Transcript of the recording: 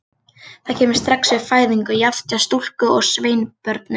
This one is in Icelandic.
Það kemur fram strax við fæðingu, jafnt hjá stúlku- og sveinbörnum.